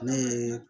Ne ye